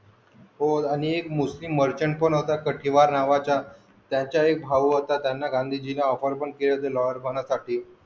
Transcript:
हो आणि एक मुस्लिम Merchant काठीवर नावाचा त्याचा एक भाव होता गांधीजिना offer पण केली होती.